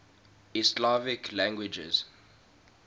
east slavic languages